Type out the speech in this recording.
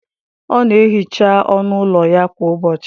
Ọ na-ehicha ọnụ ụlọ ya kwa ụbọchị.